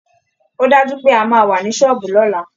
Ó dájú pé a máa wà ní ṣọ́ọ̀bù lọ́la